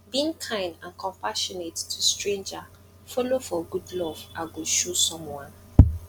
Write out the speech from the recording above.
being kind and compassionate to stranger follow for good love i go show someone